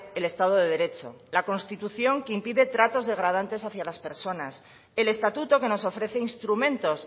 el estado de derecho la constitución que impide tratos degradantes hacia las personas el estatuto que nos ofrece instrumentos